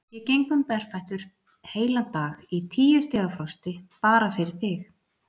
Ég geng um berfættur heilan dag í tíu stiga frosti, bara fyrir þig.